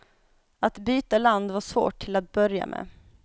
Att byta land var svårt till att börja med.